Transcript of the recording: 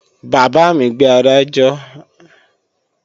Bàbá mi gbé àádọ́jọ ẹyin wá làárọ̀